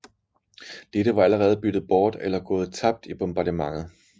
Dette var allerede byttet bort eller gået tabt i bombardementet